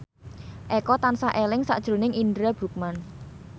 Eko tansah eling sakjroning Indra Bruggman